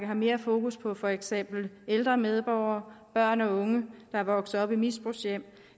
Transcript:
mere fokus på for eksempel ældre medborgere og børn og unge der er vokset op i misbrugshjem